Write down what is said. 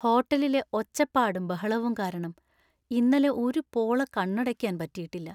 ഹോട്ടലിലെ ഒച്ചപ്പാടും ബഹളവും കാരണം ഇന്നലെ ഒരു പോള കണ്ണടയ്ക്കാൻ പറ്റിയിട്ടില്ല.